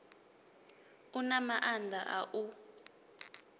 u na maanḓa a u